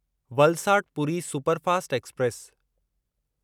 Valsad Puri superfast express